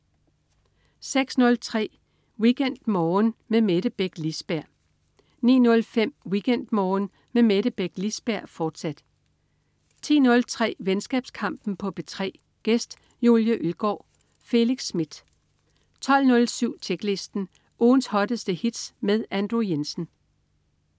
06.03 WeekendMorgen med Mette Beck Lisberg 09.05 WeekendMorgen med Mette Beck Lisberg, fortsat 10.03 Venskabskampen på P3. Gæst: Julie Ølgaard. Felix Smith 12.07 Tjeklisten. Ugens hotteste hits med Andrew Jensen